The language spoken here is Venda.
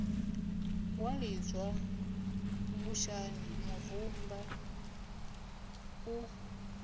wa lidzwa vhushani murumba u